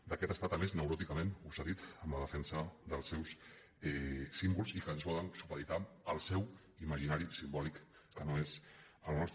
d’aquest estat a més neuròticament obsedit en la defensa dels seus símbols i que ens volen supeditar al seu imaginari simbòlic que no és el nostre